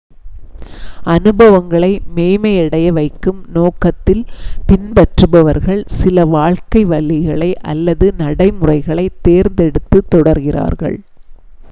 அனுபவங்களை மேம்மையடைய வைக்கும் நோக்கத்தில் பின்பற்றுபவர்கள் சில வாழ்க்கை வழிகளை அல்லது நடைமுறைகளைத் தேர்ந்தெடுத்து தொடர்கிறார்கள்